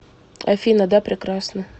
афина да прекрасно